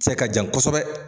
Se ka jan kosɛbɛ.